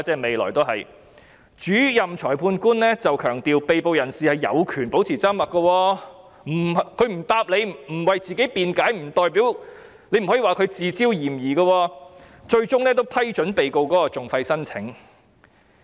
幸好主任裁判官強調，被捕人士有權保持緘默，他不回答，不為自己辯解，亦不能說他是自招嫌疑，最終亦批准被告的訟費申請。